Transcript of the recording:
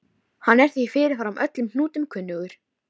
Hann er því fyrirfram öllum hnútum kunnugur.